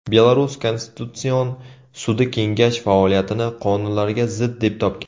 Belarus konstitutsion sudi kengash faoliyatini qonunlarga zid deb topgan.